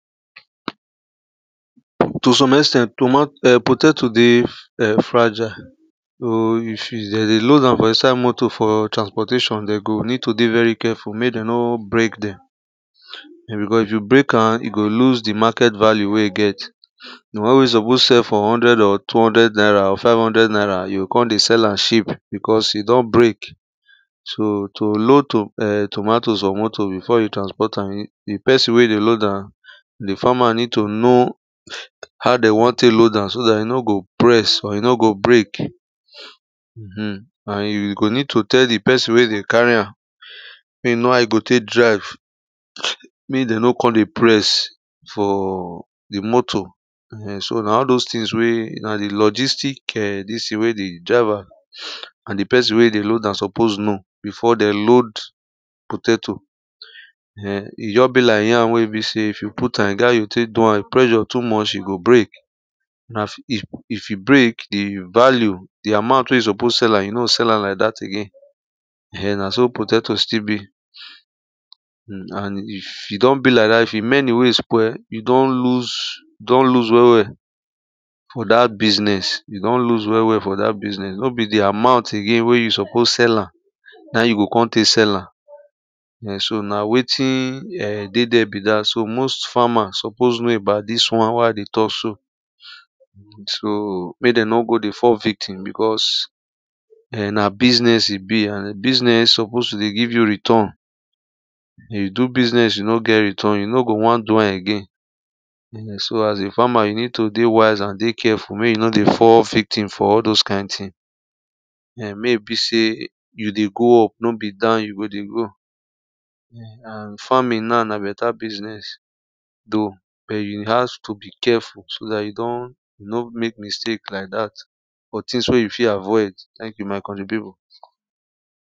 To some ex ten d toma er potato dey er fragile. So if you them dey load am for inside motor for transportation then go need to dey very careful mey then nor break then. En because if you break an e go lose the market value wey e get, the one wey suppose sell for hundred or two hundred naira or five hundred naira you go kon dey sell am cheap because e don break. So to load to er tomato for motor before you transport am e the person wey dey load an the farmer need to know how then wan take load an so that e no go press or e no go break. Uhum, and you go need to tell the person wey dey carry an mey e know how e go take drive, mey then nor kon dey press for the motor. Ehen so, na all those things wey na the logistic er this thing wey the driver and the person wey dey load an suppose know before then load potato, en. E just be like yam wey e be say if you put an e get how you take do an, if pressure too much e go break na if if e break e value, the amount wey you suppose sell an, you no sell an like that again, ehen na so potato still be. Hum and if e don be like that, if e many wey spoil you don lose don lose well well for that business, you don lose well well for that business, nor be the amount again wey you suppose sell an na you go kon tey sell an, en so, na wetin er dey there be that. so most farmer suppose know about this one wa dey talk so. So, make then nor go dey fall victim because en na business e be and business suppose to dey give you return. You dey do business you nor get return you no go wan do an again, en, so as a farmer you need to dey wise and dey careful may you nor dey fall victim for all those kind thing. En, may e be say you dey go up nor be down you go dey go. En and farming now na better business, though but you have to be careful so that you don’t not make mistake like that for things wey you fit avoid. Thank you my country people.